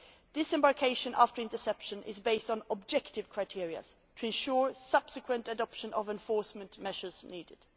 Disembarkation after interception is based on objective criteria to ensure the subsequent adoption of the enforcement measures needed.